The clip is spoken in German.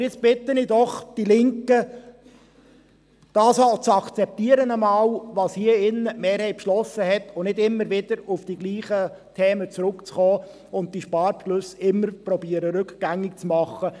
Aber jetzt bitte ich doch die Linke einmal, das auch zu akzeptieren, was die Mehrheit hier drin beschlossen hat, und nicht immer wieder auf dieselben Themen zurückzukommen und zu versuchen, die Sparbeschlüsse rückgängig zu machen.